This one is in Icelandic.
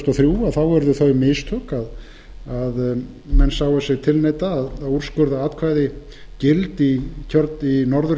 og þrjú urðu þau mistök að menn sáu sig tilneydda að úrskurða atkvæði gild í norðurkjördæminu